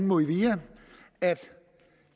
movia at